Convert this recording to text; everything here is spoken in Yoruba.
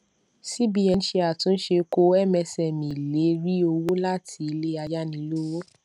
cbn ṣe àtúnṣe kó msme lè rí owó láti ilé ayánilówó